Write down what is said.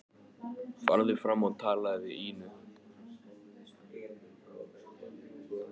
Farðu fram og talaðu við Ínu.